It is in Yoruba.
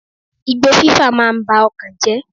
Igbó fí fà máa ń ba ọkàn jẹ́.